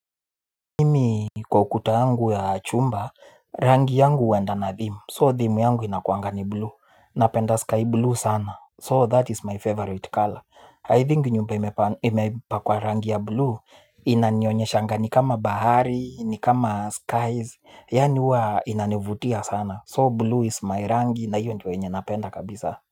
Mimi kwa ukuta wangu ya chumba rangi yangu wenda na thimu so thimu yangu inakuangani blue napenda sky blue sana so that is my favorite color i think nyumba imepa kwa rangi ya blue inanyonyesha nga ni kama bahari ni kama skies yaani uwa inanivutia sana so blue is my rangi na hiyo ndio yenye napenda kabisa.